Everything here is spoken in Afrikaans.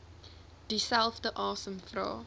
dieselfde asem vra